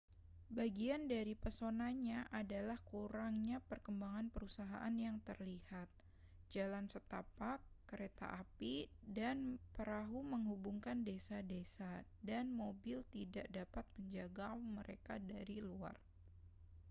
bagian dari pesonanya adalah kurangnya perkembangan perusahaan yang terlihat jalan setapak kereta api dan perahu menghubungkan desa-desa dan mobil tidak dapat menjangkau mereka dari luar